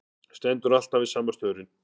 Stendur alltaf við sama staurinn.